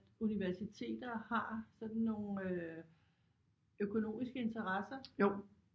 Universiteter har sådan nogle øh økonomiske interesser